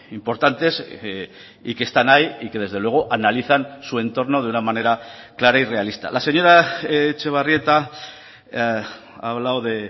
importantes y que están ahí y que desde luego analizan su entorno de una manera clara y realista la señora etxebarrieta ha hablado de